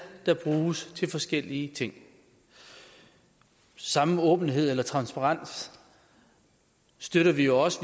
der bruges til forskellige ting samme åbenhed eller transparens støtter vi jo også